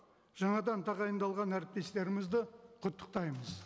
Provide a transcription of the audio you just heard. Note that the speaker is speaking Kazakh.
жаңадан тағайындалған әріптестерімізді құттықтаймыз